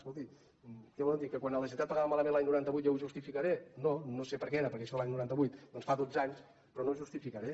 escolti què volen dir que quan la generalitat pagava malament l’any noranta vuit jo ho justificaré no no sé per què era perquè d’això de l’any noranta vuit doncs fa dotze anys però no ho justificaré